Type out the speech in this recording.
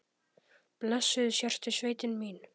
Blessuð sértu sveitin mín!